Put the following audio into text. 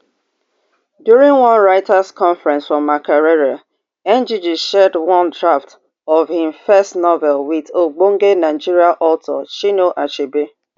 during one writers conference for makerere ngg share one draft of in first novel wit ogbonge nigeria author chinua achebe